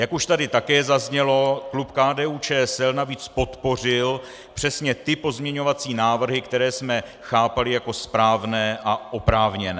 Jak už tady také zaznělo, klub KDU-ČSL navíc podpořil přesně ty pozměňovací návrhy, které jsme chápali jako správně a oprávněné.